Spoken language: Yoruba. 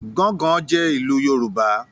“Gángan” jẹ́ ìlù Yorùbá.